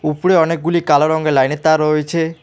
উপরে অনেকগুলি কালো রঙের লাইনের তার রয়েছে।